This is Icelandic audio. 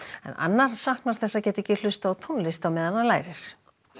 en annar saknar þess að geta ekki hlustað á tónlist meðan hann lærir